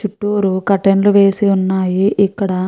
చుట్టూరు కర్టైన్స్ వేసి ఉన్నాయి ఇక్కడ.